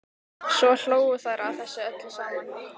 Svo hlógu þær að þessu öllu saman.